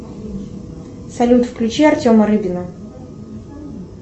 салют включи артема рыбина